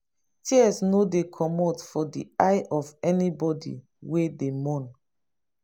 tears no dey comot for di eye of anybodi wey dey mourn.